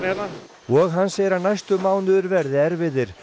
hérna og hann segir að næstu mánuðir verði erfiðir